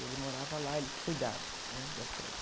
Ele morava lá, ele que cuidava, né? Das coisas.